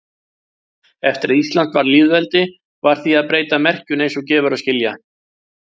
Eftir að Ísland varð lýðveldi varð því að breyta merkinu eins og gefur að skilja.